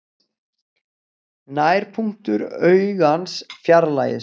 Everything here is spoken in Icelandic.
Nærpunktur augans fjarlægist.